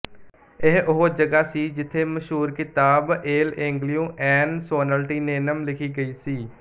ਇਹ ਉਹ ਜਗ੍ਹਾ ਸੀ ਜਿਥੇ ਮਸ਼ਹੂਰ ਕਿਤਾਬ ਏਲ ਈਂਗੇਲਿਓ ਐਨ ਸੋਲਨਟੀਨੇਨਮ ਲਿਖੀ ਗਈ ਸੀ